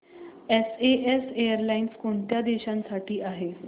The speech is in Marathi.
एसएएस एअरलाइन्स कोणत्या देशांसाठी आहे